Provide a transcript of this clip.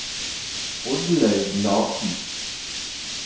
Oddlaug Larsen